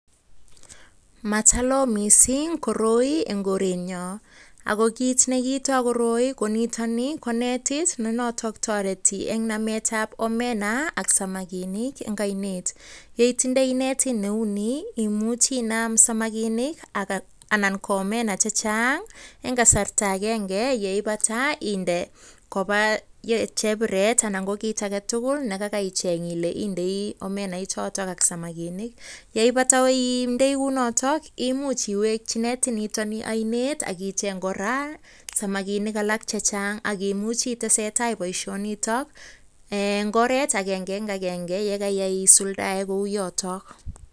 Matalo mising koroi en korenyon, ago kit ne kiito koroi ko nito ni ko netit ne noton toreti eng nametab omena ak samakinik en oinet. Ye itindoi netit neu nii imuchi inam samakinik anan ko omena chechang en kasarta agenge, ye ibata inde koba chebiret anan ko kit age tugul ne kaagaicheng ile indoi omena ichoto ak samakinik ye ibata indei kounoto imuch iweki netini oinet akicheng kora samakinik chechang ak imuchi itesetai boisionito en ngoret agenge en agenge ye kaisuldaen kou yoto.